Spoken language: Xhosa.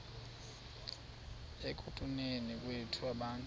ekutuneni kwethu abantu